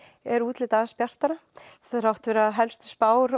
er útlitið aðeins bjartara þrátt fyrir að helstu spár